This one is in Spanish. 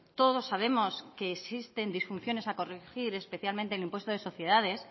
todos sabemos que existen disfunciones a corregir especialmente en el impuesto de sociedades